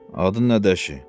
Adın nədir, əşi?